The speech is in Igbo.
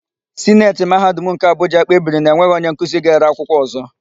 Sineti Mahadum nke Abụja kpebiri na enweghị onyenkuzi ga-ere akwụkwọ ọ̀zọ́.